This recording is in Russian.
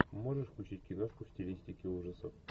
можешь включить киношку в стилистике ужасов